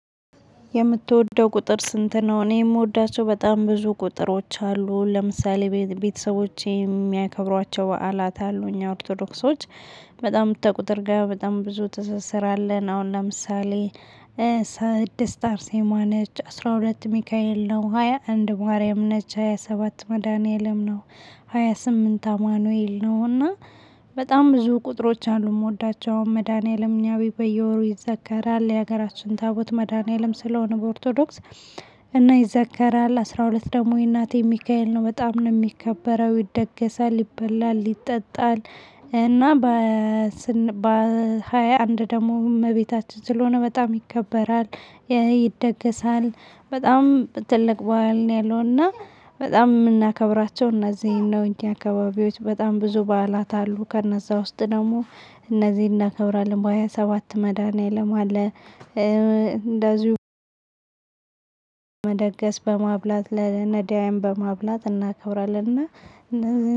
የምትወደው ቁጥር ስንት ነው? እኔ የምወዳቸው በጣም ብዙ ቁጥሮች አሉ ለምሳሌ ቤተሰቦቼ የሚያከብሯቸው በዓላት አሉ እኛ ኦርቶዶክሶች በጣም ከቁጥር ጋር በጣም ብዙ ትስስር አለን። አሁን ለምሳሌ። ስድስት አርሴማ ነች አስራ ሁለት ሚካኤል ነው ሃያ አንድ ማርያም ነች ሃያ ሰባት መድኃኒዓለም ነው። ሃያ ስምንት አማኑኤል ነውና በጣም ብዙ ቁጥሮች አሉ። የምወዳቸው መድኃኒዓለም እኛ ቤት በየወሩ ይዘከራል የሀገራችን ታቦት መድኃኒዓለም ስለሆነ በኦርቶዶክስ። እና ይዘከራል አስራ ሁለት ደግሞ የእናቴ ሚካኤል ነው በጣም ነው የሚከበረው ይደገሳል ይበላል ይጠጣል። እና። በሃያ አንድ ደግሞ እመቤታችን ስለሆነ በጣም ይከበራል። ይደገሳል በጣም ትልቅ በዓል ነው። ያለው እና በጣም የምናከብራቸው እነዚህን ነው እንጂ አካባቢዎች በጣም ብዙ በዓላት አሉ። ከነዛ ውስጥ ደግሞ እነዚህን እናከብራለን። በሃያ ሰባት መድኃኒዓለም አለ። እንደዚሁ መደገስ በማብላት ለነዳያን በማብላት እናከብራለንና